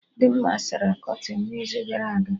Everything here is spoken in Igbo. Dimma sara kọtịnụ n'izu gara aga